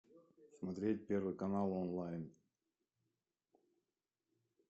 смотреть первый канал онлайн